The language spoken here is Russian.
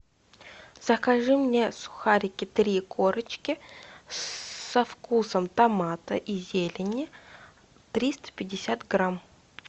закажи мне сухарики три корочки со вкусом томата и зелени триста пятьдесят грамм